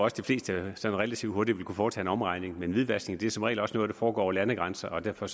at de fleste sådan relativt hurtigt ville kunne foretage en omregning men hvidvaskning er som regel også noget der foregår over landegrænser og derfor